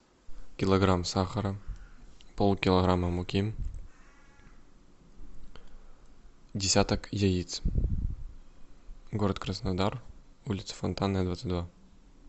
килограмм сахара полкилограмма муки десяток яиц город краснодар улица фонтанная двадцать два